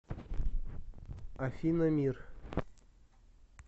афина мир